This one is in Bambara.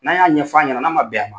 N'a y'a ɲɛfɔ a ɲɛna n'a man bɛn a ma.